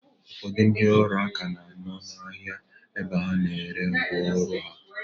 Ụfọdụ ndị ọrụ aka na-anọ n'ahia ebe a na-ere ngwa ọrụ ha.